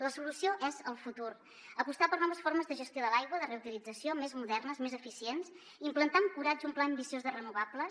la solució és el futur apostar per noves formes de gestió de l’aigua de reutilització més modernes més eficients implantar amb coratge un pla ambiciós de renovables